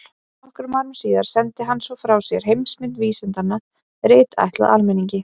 Nokkrum árum síðar sendi hann svo frá sér Heimsmynd vísindanna, rit ætlað almenningi.